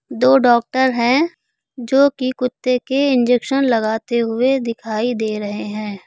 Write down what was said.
दो डॉक्टर हैं जो कि कुत्ते के इंजेक्शन लगाते हुए दिखाई दे रहे हैं।